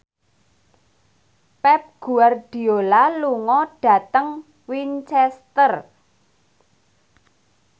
Pep Guardiola lunga dhateng Winchester